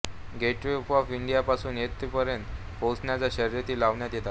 gateway of इंडियापासून येथपर्यंत पोहण्याच्या शर्यती लावण्यात येतात